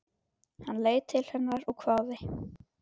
Hann leit til hennar og hváði.